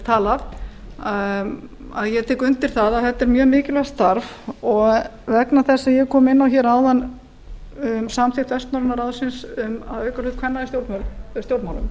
talað að ég tek undir að þetta er mjög mikilvægt starf og vegna þess sem ég kom inn á hérna áðan um samþykkt vestnorræna ráðsins um að auka hlut kvenna í stjórnmálum